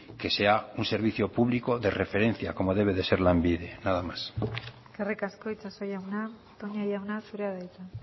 que sea un servicio público de referencia como debe de ser lanbide nada más eskerrik asko itxaso jauna toña jauna zurea da hitza